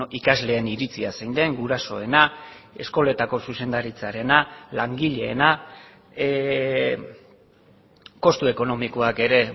ikasleen iritzia zein den gurasoena eskoletako zuzendaritzarena langileena kostu ekonomikoak ere